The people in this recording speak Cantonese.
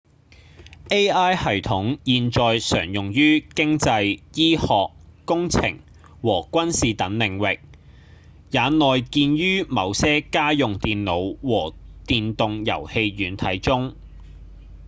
ai 系統現在常用於經濟、醫學、工程和軍事等領域也內建於某些家用電腦和電動遊戲軟體中